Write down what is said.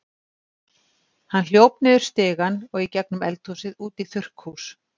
Hann hljóp niður stigann og í gegnum eldhúsið út í þurrkhús.